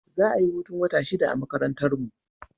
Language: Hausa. Za a yi hutun wata shida a makarantarmu.